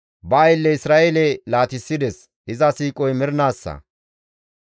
Ba aylle Isra7eele laatissides; iza siiqoy mernaassa.